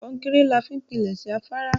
Kọ́ńkẹ́rẹ́ làá fi n pínlesé àfàrà.